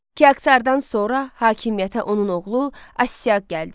Kiaksardan sonra hakimiyyətə onun oğlu Astiaq gəldi.